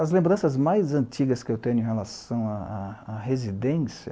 As lembranças mais antigas que eu tenho em relação à à à residência